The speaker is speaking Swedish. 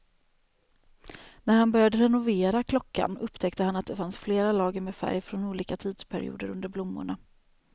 När han började renovera klockan upptäckte han att det fanns flera lager med färg från olika tidsperioder under blommorna.